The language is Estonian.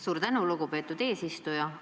Suur tänu, lugupeetud eesistuja!